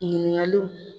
Ɲininkaliw